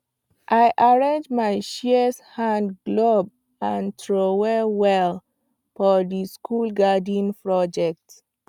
i arrange my shears hand glove and trowel well for the school garden project